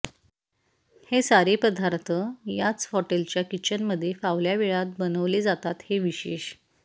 हे सारे पदार्थ याच हॉटेलच्या किचनमध्ये फावल्या वेळात बनवले जातात हे विशेष